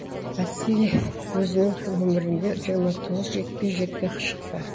василий өзінің өмірінде жиырма тоғыз жекпе жекке шықты